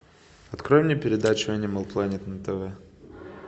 открой мне передачу энимал плэнет на тв